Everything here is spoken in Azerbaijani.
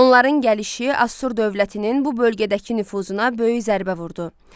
Onların gəlişi Assur dövlətinin bu bölgədəki nüfuzuna böyük zərbə vurdu.